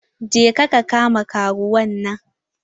Je ka kama karuwan nan!